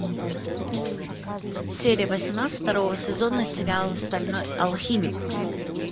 серия восемнадцать второго сезона сериала стальной алхимик